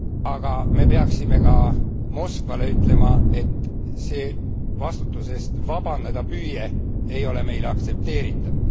Aga me peaksime ka Moskvale ütlema, et see vastutusest vabaneda püüe ei ole meile aktsepteeritav.